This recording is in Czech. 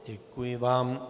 Děkuji vám.